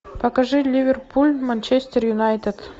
покажи ливерпуль манчестер юнайтед